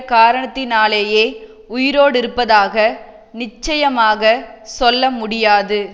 காரணத்தினாலேயே உயிரோடிருப்பதாக நிச்சயமாகச் சொல்ல முடியாது